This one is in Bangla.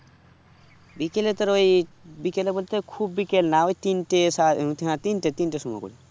বিকেলে তোর ওই বিকেলে বলতে খুব বিকেল না ওই তিনটে সাড়েতিনটে তিনটের সময় করে